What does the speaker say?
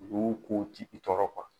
Dugu kow ti i tɔɔrɔ